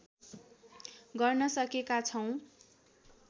गर्न सकेका छौँ